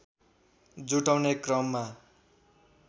जुटाउने क्रममा